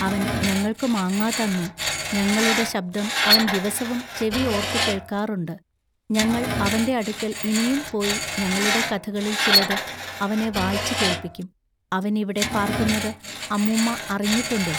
അവൻ ഞങ്ങൾക്കു മാങ്ങാ തന്നു. ഞങ്ങളുടെ ശബ്ദം അവൻ ദിവസവും ചെവി ഓൎത്തു കേൾക്കാറുണ്ട് ഞങ്ങൾ അവന്റെ അടുക്കൽ ഇനിയും പോയി ഞങ്ങളുടെ കഥകളിൽ ചിലത് അവനെ വായിച്ചുകേൾപ്പിക്കും അവനിവിടെ പാൎക്കുന്നതു അമ്മുമ്മ അറിഞ്ഞിട്ടുണ്ടൊ?